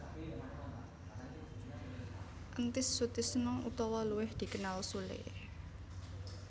Entis Sutisna utawa luwih dikenal Sule